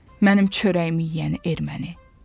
Mənim çörəyimi yeyən erməni.